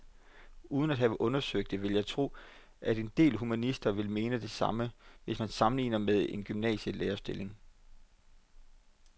Uden at have undersøgt det vil jeg tro, at en del humanister vil mene det samme, hvis man sammenligner med en gymnasielærerstilling.